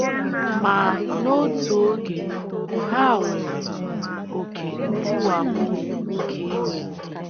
Ma, n’otu oge,, ha nwere “ oké ntiwapụ nke iwe. ”